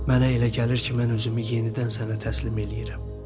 Mənə elə gəlir ki, mən özümü yenidən sənə təslim eləyirəm.